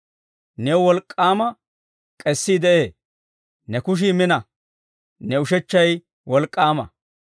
New wolk'k'aama k'eesii de'ee; ne kushii mina; ne ushechchay wolk'k'aama.